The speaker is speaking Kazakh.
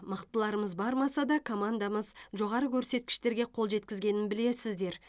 мықтыларымыз бармаса да командамыз жоғары көрсеткіштерге қол жеткізгенін білесіздер